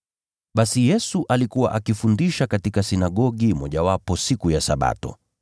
Basi Yesu alikuwa akifundisha katika sinagogi mojawapo siku ya Sabato.